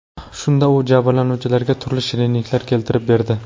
Shunda u jabrlanuvchilarga turli shirinliklar keltirib berdi.